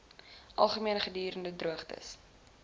algemeen gedurende droogtes